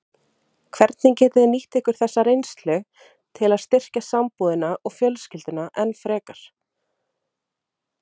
Hvernig getið þið nýtt ykkur þessa reynslu til að styrkja sambúðina og fjölskylduna enn frekar?